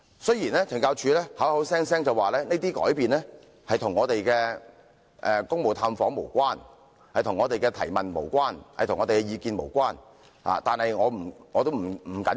懲教署聲稱這些改變與我們的公務探訪無關，亦與我們的提問及意見無關，這些並不重要。